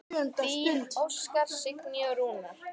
Þín Óskar, Signý og Rúnar.